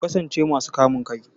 Ku kasance masu kamun kai!